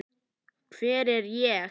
Hver er ég?